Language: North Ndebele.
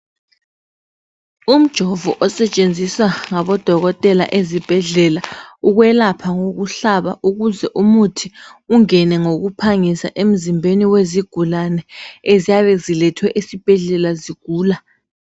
Umjovo osetshenziswa ngabodokotela ezibhedlela ukwelapha ngokuhlaba ukwenzela ukuthi umuthi ungene ngokuphangisa emzimbeni wezigulane eziyabe zilethwe esibhedlela zigula.